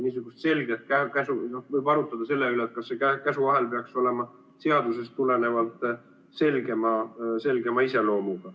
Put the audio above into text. Võib arutleda selle üle, kas käsuahel peaks olema seadusest tulenevalt selgema iseloomuga.